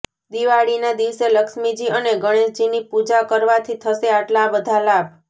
દિવાળીના દિવસે લક્ષ્મીજી અને ગણેશજીની પૂજા કરવાથી થશે આટલા બધા લાભ